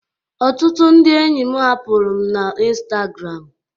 Ọtụtụ ndị enyi m hapụrụ'm na Instagram